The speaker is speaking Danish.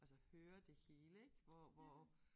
Altså høre det hele ik hvor hvor